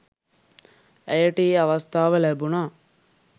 ඇයට ඒ අවස්ථාව ලැබුණා